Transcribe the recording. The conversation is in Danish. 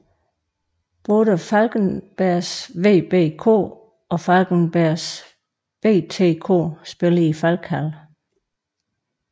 Både Falkenbergs VBK og Falkenbergs BTK spiller i Falkhallen